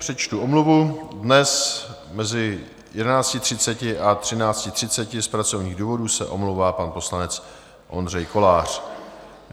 Přečtu omluvu, dnes mezi 11.30 a 13.30 z pracovních důvodů se omlouvá pan poslanec Ondřej Kolář.